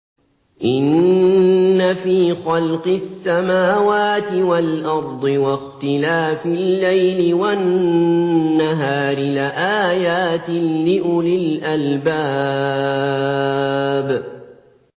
إِنَّ فِي خَلْقِ السَّمَاوَاتِ وَالْأَرْضِ وَاخْتِلَافِ اللَّيْلِ وَالنَّهَارِ لَآيَاتٍ لِّأُولِي الْأَلْبَابِ